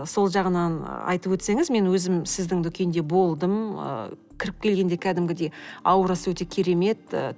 сол жағынан айтып өтсеңіз мен өзім сіздің дүкенде болдым ы кіріп келгенде кәдімгідей аурасы өте керемет ы